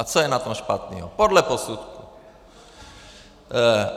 A co je na tom špatného podle posudku?